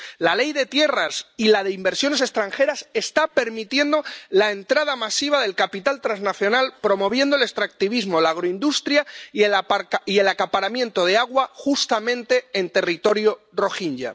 La Ley de tierras y la de inversiones extranjeras está permitiendo la entrada masiva de capital transnacional, promoviendo el extractivismo, la agroindustria y el acaparamiento de agua justamente en territorio rohinyá.